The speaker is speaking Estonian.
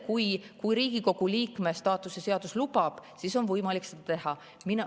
Kui Riigikogu liikme staatuse seadus lubab, siis on võimalik seda teha.